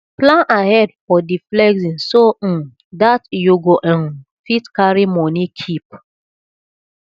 plan ahead for di flexing so um dat you go um fit carry money keep